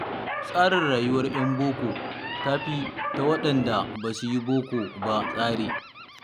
Tsarin rayuwar 'yan boko tafi ta waɗanda ba su yi bokon ba tsari.